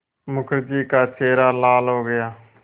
मुखर्जी का चेहरा लाल हो गया